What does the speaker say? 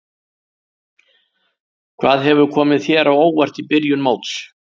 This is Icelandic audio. Hvað hefur komið þér á óvart í byrjun móts?